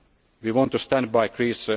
of reform. We want to stand